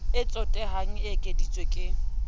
o tsotehang e ekeditswe ke